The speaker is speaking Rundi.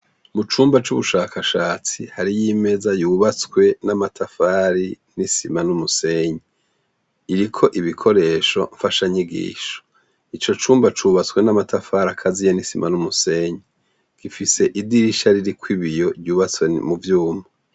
Mu cumba c'ubushakashatsi hariyo imeza yubatswe n'amatafari n'isima n'umusenyi, iriko ibikoresho mfashanyigisho. Ico cumba cubatswe n'amatafari akaziye n'isima n'umusenyi. Gifise idirisha ririko ibiyo vyubatwe mu vyuma.